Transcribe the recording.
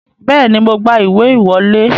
Bẹ́ẹ̀ni, mo gba ìwé ìwọlé